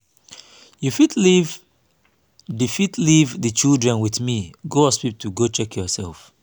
you go fit leave the fit leave the children with me go hospital go check yourself